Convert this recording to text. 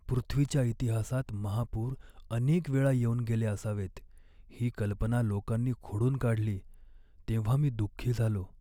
पृथ्वीच्या इतिहासात महापूर अनेक वेळा येऊन गेले असावेत ही कल्पना लोकांनी खोडून काढली तेव्हा मी दुख्खी झालो.